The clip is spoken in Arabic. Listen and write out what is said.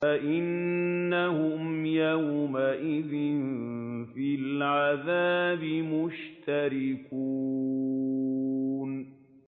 فَإِنَّهُمْ يَوْمَئِذٍ فِي الْعَذَابِ مُشْتَرِكُونَ